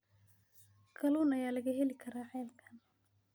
kalluun ayaa laga heli karaa ceelkan